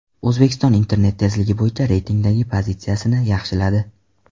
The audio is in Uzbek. O‘zbekiston internet tezligi bo‘yicha reytingdagi pozitsiyasini yaxshiladi.